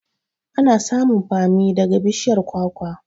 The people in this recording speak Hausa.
Ana samun bammi daga bishiyar kwakwa